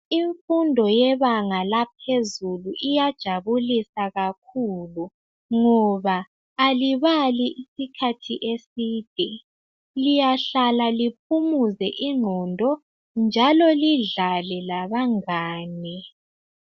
Imfundo yebanga laphezulu iyajabulisa kakhulu ngoba alibali isikhathi eside liyahlala liphumuze inqondo njalo lidlale labangane